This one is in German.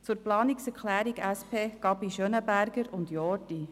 Zur Planungserklärung SP-JUSO-PSA, Gabi und Jordi: